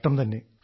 കഷ്ടം തന്നെ